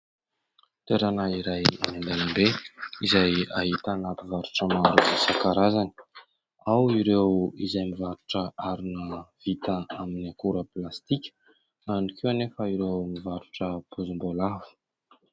Toerana iray eny an-dàlambe izay ahitana mpivarotra maro isan-karazany. Ao ireo izay mivarotra harona vita amin'ny akora plastika ao ihany ko anefa ireo mivarotra poizim-boalavo.